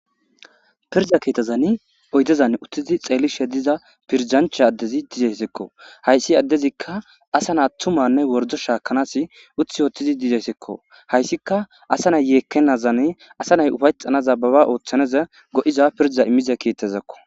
pirda keetazani oydezan uttizi xeelishe diza pirjancha addezi dizeyssekko hayssi addezikka asa naa ttumanne wordo shaakanas uth woothtizi dizeyssekko hayssika asa nay yeekkenazan asa nay ufayxanaza baba ooththaneza go7iza pirza immiza keettazakko